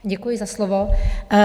Děkuji za slovo.